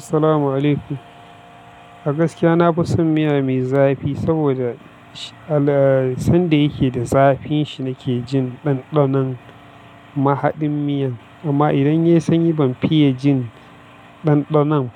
Assalamu alaykum. A gaskiya na fi son miya mai zafi saboda sanda yake da zafin shi nake jin ɗanɗanon mahaɗin miyan. Amma idan yayi sanyi ban fiye jin ɗanɗanon